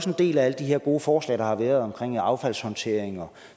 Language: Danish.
en del af alle de her gode forslag der har været omkring affaldshåndtering og